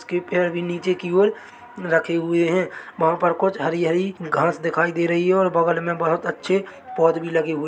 उसके पैर भी नीचे की और रखे हुए है वहाँ पर कुछ हरी हरी घास दिखाई दे रही है और बगल मे बहुत अच्छे पौध भी लगे हुए हैं ।